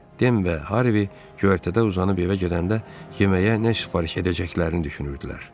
Dem və Harvi göyərtədə uzanıb evə gedəndə yeməyə nə sifariş edəcəklərini düşünürdülər.